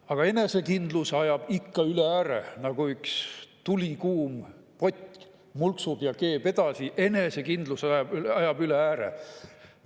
Aga enesekindluse ajab ikka üle ääre – nagu üks tulikuum pott mulksub ja keeb edasi, enesekindlus ajab üle ääre.